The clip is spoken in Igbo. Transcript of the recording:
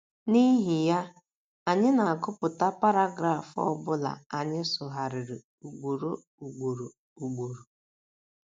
N’ihi ya, anyị na - agụpụta paragraf ọ bụla anyị sụgharịrị ugboro ugboro ugboro.